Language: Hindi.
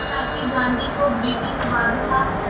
हालांकि गांधी को ब्रिटिश बादशाह